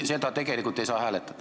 Seda ei saa tegelikult hääletada.